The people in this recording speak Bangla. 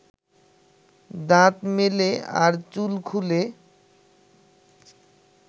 দাঁত মেলে আর চুল খুলে